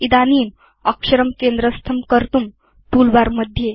इदानीम् अक्षरं केन्द्रस्थं कर्तुं टूलबार